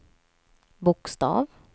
bokstav